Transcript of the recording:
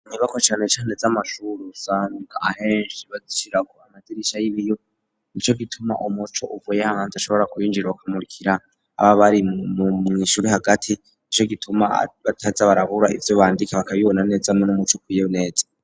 Inyubakwa canecane z'amashuri usanga ahenshi bazishirako amadirisha y'ibiyo, nico gituma umuco uvuye hanze ushobora kwinjira ukamurikira ababa bari mw'ishuri hagati, nico gituma bataza barabura ivyo bandika bakabibona neza n'umuco ukwiye neza.